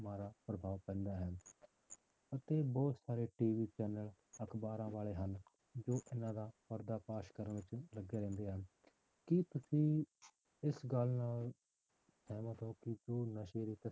ਮਾੜਾ ਪ੍ਰਭਾਵ ਪੈਂਦਾ ਹੈ ਅਤੇ ਬਹੁਤ ਸਾਰੇ TV channel ਅਖ਼ਬਾਰਾਂ ਵਾਲੇ ਹਨ, ਜੋ ਇਹਨਾਂ ਦਾ ਪੜਦਾ ਫ਼ਾਸ ਕਰਨ ਵਿੱਚ ਲੱਗੇ ਰਹਿੰਦੇ ਹਨ, ਕੀ ਤੁਸੀਂ ਇਸ ਗੱਲ ਨਾਲ ਸਹਿਮਤ ਹੋ ਕਿ ਜੋ ਨਸ਼ੇ ਦੇ